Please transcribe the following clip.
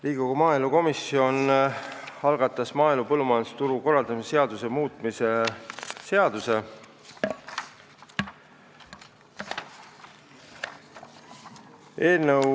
Riigikogu maaelukomisjon on algatanud maaelu ja põllumajandusturu korraldamise seaduse muutmise seaduse eelnõu.